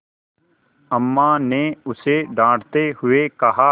अम्मा ने उसे डाँटते हुए कहा